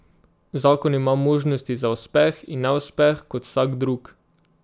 Zakon ima možnosti za uspeh in neuspeh kot vsak drug.